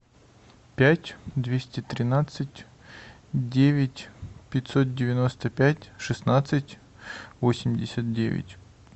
пять двести тринадцать девять пятьсот девяносто пять шестнадцать восемьдесят девять